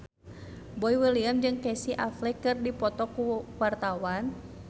Boy William jeung Casey Affleck keur dipoto ku wartawan